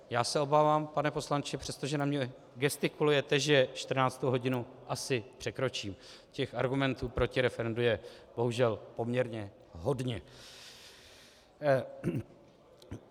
Já se obávám, pane poslanče, přestože na mě gestikulujete, že 14. hodinu asi překročím, těch argumentů proti referendu je bohužel poměrně hodně.